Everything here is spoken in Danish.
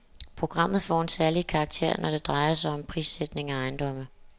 Programmet får en særlig karakter, når det drejer sig om prissætning af ejendomme.